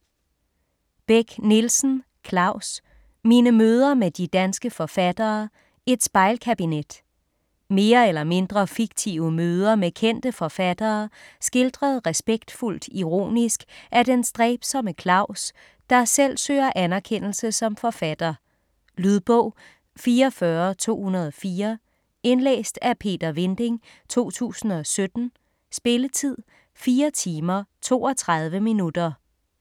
Beck-Nielsen, Claus: Mine møder med de danske forfattere: et spejlkabinet Mere eller mindre fiktive møder med kendte forfattere, skildret respektfuldt ironisk af den stræbsomme Claus, der selv søger anerkendelse som forfatter. Lydbog 44204 Indlæst af Peter Vinding, 2017. Spilletid: 4 timer, 32 minutter.